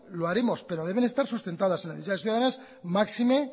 lo haremos pero deben estar sustentadas en las necesidades ciudadanas máxime